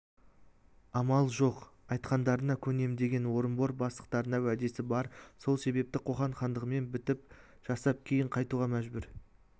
амал жоқ айтқандарыңа көнем деген орынбор бастықтарына уәдесі бар сол себепті қоқан хандығымен бітім жасап кейін қайтуға мәжбүр